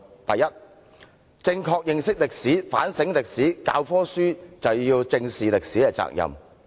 第一，正確認識歷史，反省歷史，教科書便要正視歷史責任。